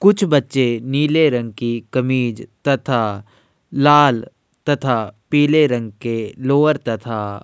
कुछ बच्चे नीले रंग की कमीज तथा लाल तथा पीले रंग के लोवर तथा --